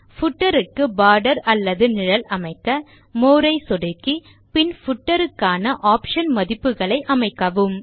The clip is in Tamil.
பூட்டர் க்கு போர்டர் அல்லது நிழல் அமைக்க மோர் ஐ சொடுக்கி பின் பூட்டர் க்கான ஆப்ஷன் மதிப்புகளை அமைக்கவும்